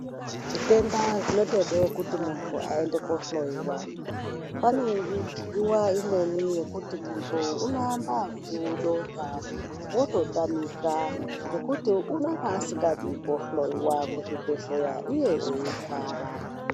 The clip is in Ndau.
Zvitenda zvinotode kuti muntu aende koohloyiwa. Pane nguwa imweni yekuti muntu unoamba ngekudonha wototamika ngekuti unenge asingazi kuhloyiwa kuzvibhedhlera iye eirwara.